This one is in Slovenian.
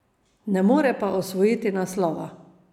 Ne more pa osvojiti naslova.